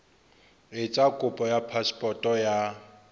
etsa kopo ya phasepoto ya